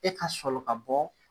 E ka sɔli ka bɔ